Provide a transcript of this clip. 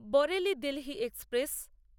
Bareilly Delhi express